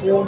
।